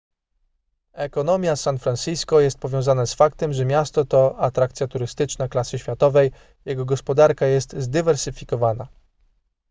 ekonomia san francisco jest powiązana z faktem że miasto to atrakcja turystyczna klasy światowej jego gospodarka jest zdywersyfikowana